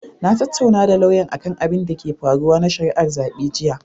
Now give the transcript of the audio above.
Na tattaunawa da lauyan akan abinda ke faruwa na shari'ar zaɓe jiya.